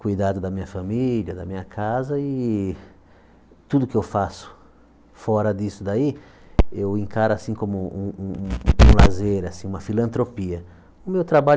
cuidado da minha família, da minha casa e tudo que eu faço fora disso daí, eu encaro assim como um um um lazer assim, uma filantropia. O meu trabalho